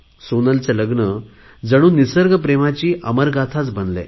सोनलचे लग्न जणू निसर्गप्रेमाची अमरगाथा बनलंय